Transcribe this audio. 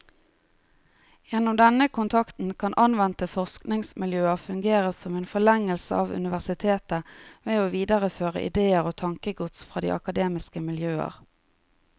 Gjennom denne kontakten kan anvendte forskningsmiljøer fungere som en forlengelse av universitetet ved å videreføre idéer og tankegods fra de akademiske miljøer.